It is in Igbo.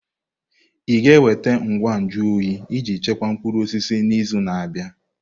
Ị ga-enweta ngwa nju oyi iji chekwaa mkpụrụ osisi n'izu na-abịa?